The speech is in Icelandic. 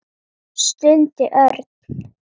stundi Örn.